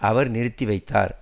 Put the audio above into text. அவர் நிறுத்தி வைத்தார்